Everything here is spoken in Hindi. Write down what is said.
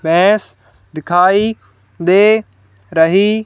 भैंस दिखाई दे रही--